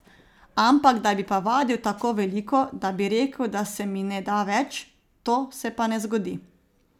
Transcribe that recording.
Ampak da bi pa vadil tako veliko, da bi rekel, da se mi ne da več, to se pa ne zgodi.